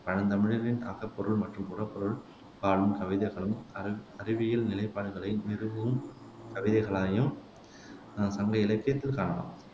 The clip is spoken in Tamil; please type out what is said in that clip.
பழந்தமிழரின் அகப்பொருள் மற்றும் புறப்பொருள் பாடும் கவிதைகளும் அரஅறிவியல் நிலைப்பாடுகளை நிறுவும் கவிதைகளையும் அஹ் சங்க இலக்கியத்தில் காணலாம்